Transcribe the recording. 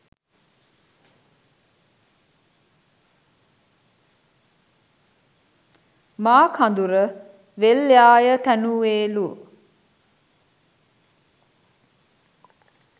මාකදුර වෙල්යාය තැනුවේලු.